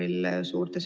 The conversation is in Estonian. Aitäh, hea ettekandja!